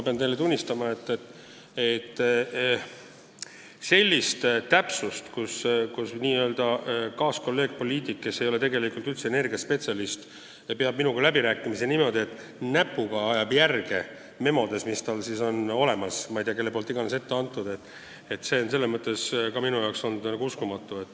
Pean teile tunnistama, et selline täpsus, mille puhul kaaskolleeg-poliitik, kes ei ole üldse energiaspetsialist, peab minuga läbirääkimisi niimoodi, et ajab näpuga järge memodes, mis tal on olemas, mis talle on ma ei tea kelle poolt ette antud, on minu jaoks olnud uskumatu.